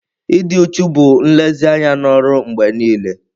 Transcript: Ịdị uchu bụ nlezianya na ọrụ mgbe niile.